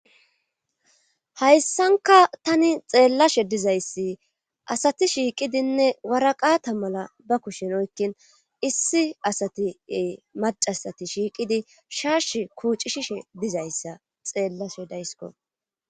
Hayssankka tani xeellashe dizayssi asati shiiqidinne waraqata mala ba kushen oyqqinn issi asati ee maccasati shiiqidi shaashi kuucishishe dizayssa xeellshe dayskko.